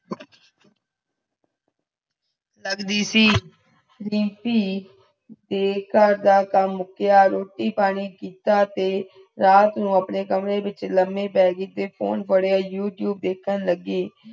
ਲਗ ਦੀ ਸੀ ਰੀਮਪੀ ਤੇ ਘਰ ਦਾ ਕਮ ਮੁਕੀਆਂ, ਰੋਟੀ ਪਾਣੀ ਕੀਤਾ ਤੇ ਰਾਤ ਨੁ ਅਪਨੇ ਕਮਰੇ ਵਿਚ ਲੰਭੇ ਪੇ ਗਈ ਤੇ ਫੋਨ ਪੜਿਆ youtube ਦੇਖੇਂ ਲਗੀ